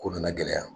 Ko nana gɛlɛya